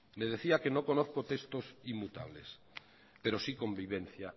le decía que no conozco textos inmutables pero sí convivencia